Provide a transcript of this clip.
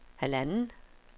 halvanden